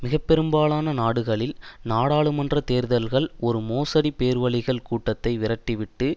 மிக பெரும்பாலான நாடுகளில் நாடாளுமன்ற தேர்தல்கள் ஒரு மோசடி பேர்வழிகள் கூட்டத்தை விரட்டி விட்டு